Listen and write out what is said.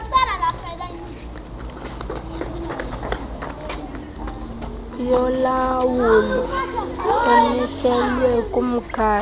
yolawulo emiselwe kumgaqo